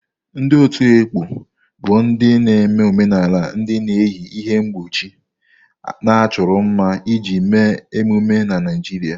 Ndị otu ekpo bụ ndị na-eme omenala ndị na-eyi ihe mkpuchi na-achọro mma iji mee emume na Naijiria.